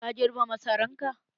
Ka girbe masaran ka?